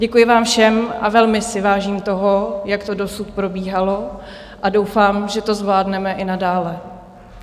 Děkuji vám všem a velmi si vážím toho, jak to dosud probíhalo, a doufám, že to zvládneme i nadále.